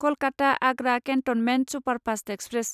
Kolkata Agra cantonment superfast express